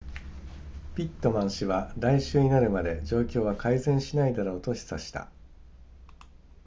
ピットマン氏は来週になるまで状況は改善しないだろうと示唆した